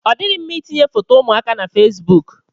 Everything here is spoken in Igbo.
Ọ dịghị mma itinye foto ụmụaka na fesbụụk.